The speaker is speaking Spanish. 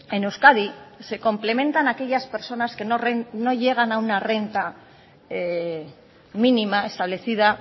en euskadi se complementan aquellas personas que no llegan a una renta mínima establecida